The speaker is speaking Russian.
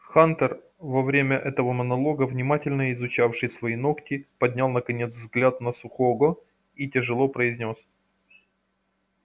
хантер во время этого монолога внимательно изучавший свои ногти поднял наконец взгляд на сухого и тяжело произнёс